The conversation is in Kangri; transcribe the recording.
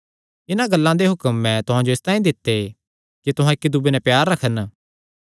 इन्हां गल्लां दे हुक्म मैं तुहां जो इसतांई दित्ते कि तुहां इक्की दूये नैं प्यार रखन